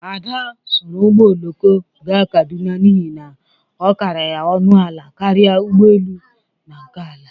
Ada soro ụgbọ oloko ga Kaduna n'ihi na ọ kara ya ọnụ ala karịa ụgbọ elu na nke ala.